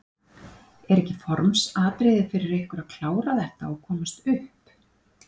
Er ekki formsatriði fyrir ykkur að klára þetta og komast upp?